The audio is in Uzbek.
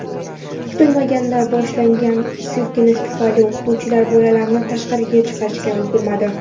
Kutilmaganda boshlangan silkinish tufayli o‘qituvchilar bolalarni tashqariga chiqarishga ulgurmadi.